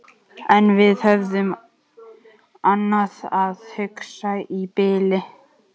En við höfðum um annað að hugsa í bili.